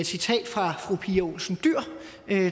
citat fra fru pia olsen dyhr